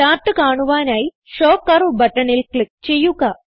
chart കാണുവാനായി show curve ബട്ടണിൽ click ചെയ്യുക